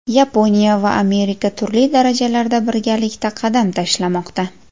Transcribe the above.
Yaponiya va Amerika turli darajalarda birgalikda qadam tashlamoqda.